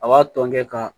A b'a tɔn kɛ ka